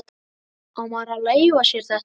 Á maður að leyfa sér þetta?